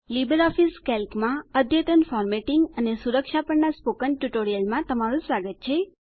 LibreOffice કેલ્કમાં અદ્યતન formatting અને સુરક્ષા પરના સ્પોકન ટ્યુટોરિયલમાં તમારું સ્વાગત છે